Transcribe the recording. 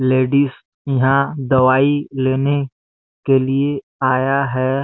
Ladies यहाँ दवाई लेने के लिए आया है।